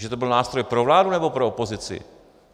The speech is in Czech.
Že to byl nástroj pro vládu, nebo pro opozici?